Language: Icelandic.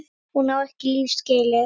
Hún á ekki líf skilið.